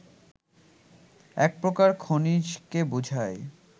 এক প্রকার খনিজকে বুঝায়